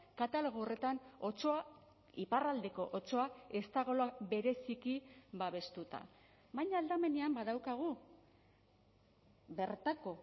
katalogo horretan otsoa iparraldeko otsoa ez dagoela bereziki babestuta baina aldamenean badaukagu bertako